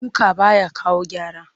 Duka ba ya kawo gyara